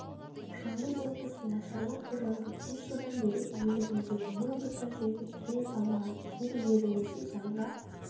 жамбыл облысында шаруа қожалығы бес жылдан бері иелігіндегі мың гектар жерге түрен салмаған жер игерілмесе заңға